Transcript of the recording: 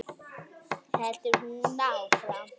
heldur hún áfram.